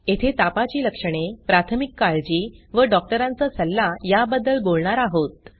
येथे तापाची लक्षणे प्राथमिक काळजी व डॉक्टरांचा सल्ला याबद्दल बोलणार आहोत